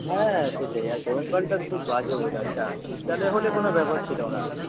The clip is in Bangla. হ্যাঁ সেটাই। আর গরমকালটা খুব বাজে weather টা শীতকালে হলে কোন ব্যাপার ছিল না।